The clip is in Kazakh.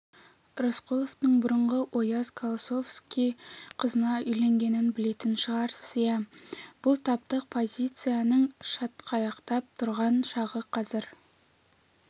рысқұловтың бұрынғы ояз колосовский қызына үйленгенін білетін шығарсыз иә бұл таптық позицияның шатқаяқтап тұрған шағы қазір